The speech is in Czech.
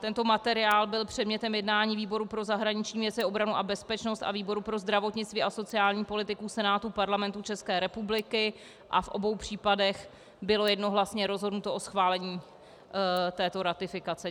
Tento materiál byl předmětem jednání výboru pro zahraniční věci, obranu a bezpečnost a výboru pro zdravotnictví a sociální politiku Senátu Parlamentu České republiky a v obou případech bylo jednohlasně rozhodnuto o schválení této ratifikace.